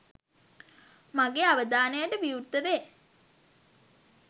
මගේ අවධානයට විවෘත වේ.